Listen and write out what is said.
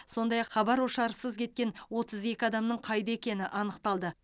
сондай ақ хабар ошарсыз кеткен отыз екі адамның қайда екені анықталды